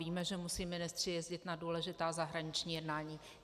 Víme, že musí ministři jezdit na důležitá zahraniční jednání.